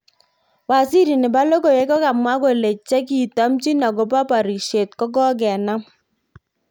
Waziri. nepo logoiywrk kokamwa kole chekitomchin akopo porishet kokokenam